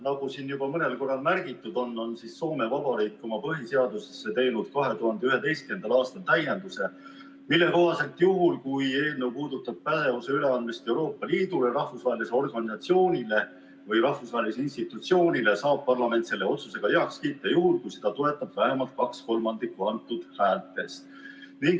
Nagu siin on juba mõnel korral märgitud, on Soome Vabariik teinud oma põhiseadusesse 2011. aastal täienduse, mille kohaselt juhul, kui eelnõu puudutab pädevuse üleandmist Euroopa Liidule, rahvusvahelisele organisatsioonile või rahvusvahelisele institutsioonile, saab parlament selle otsuse heaks kiita juhul, kui seda toetab vähemalt kaks kolmandikku parlamendi liikmetest.